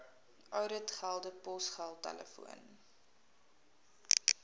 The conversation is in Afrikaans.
ouditgelde posgeld telefoon